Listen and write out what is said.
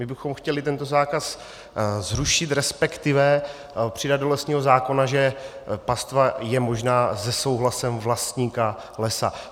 My bychom chtěli tento zákaz zrušit, respektive přidat do lesního zákona, že pastva je možná se souhlasem vlastníka lesa.